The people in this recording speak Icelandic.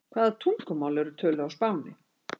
Hvaða tungumál eru töluð á Spáni?